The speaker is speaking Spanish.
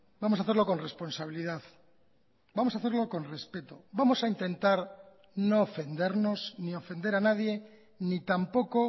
vamos a hacerlo con responsabilidad vamos a hacerlo con respeto vamos a intentar no ofendernos ni ofender a nadie ni tampoco